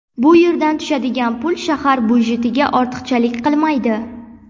Bu yerdan tushadigan pul shahar byudjetiga ortiqchalik qilmaydi.